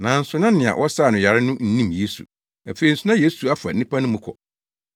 Nanso na nea wɔsaa no yare no nnim Yesu. Afei nso na Yesu afa nnipa no mu kɔ.